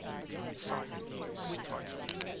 cite news title